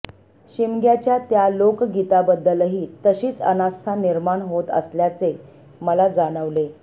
शिमग्याच्या त्या लोकगीताबद्दलही तशीच अनास्था निर्माण होत असल्याचे मला जाणवले